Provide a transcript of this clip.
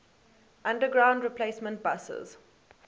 underground replacement buses